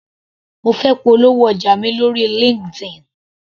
Mo fẹ́ polówó ọjà mi lóri Linkedin.